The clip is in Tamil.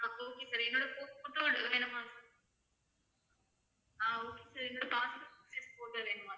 ஆஹ் okay sir passport size photo வேணுமா?